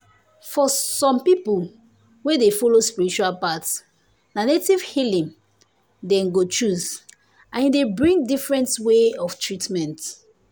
for some people wey dey follow spiritual path na native healing dem go choose and e dey bring different way of treatment.